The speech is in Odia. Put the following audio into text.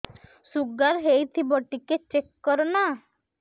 ଶୁଗାର ହେଇଥିବ ଟିକେ ଚେକ କର ନା